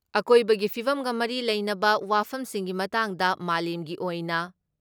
ꯑꯀꯣꯏꯕꯒꯤ ꯐꯤꯕꯝꯒ ꯃꯔꯤ ꯂꯩꯅꯕ ꯋꯥꯐꯝꯁꯤꯡꯒꯤ ꯃꯇꯥꯡꯗ ꯃꯥꯂꯦꯝꯒꯤ ꯑꯣꯏꯅ